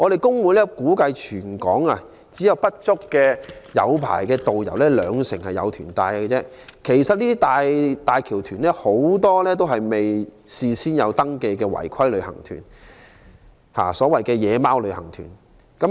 工會估計，全港只有不足兩成港珠澳大橋旅行團有持牌導遊帶團；很多"大橋團"都是未有登記的違規旅行團，即所謂"野馬"旅行團。